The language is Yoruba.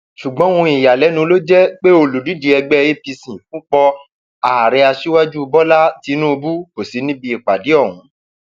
ṣùgbọn ohun ìyàlẹnu ló jẹ pé olùdíje ẹgbẹ apc fúnpọ ààrẹ aṣíwájú bọlá tínúbù kò sí níbi ìpàdé ọhún